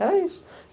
Era isso.